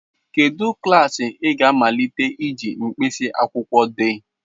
Kedu klaasị ị ga-amalite iji mkpịsị akwụkwọ dee?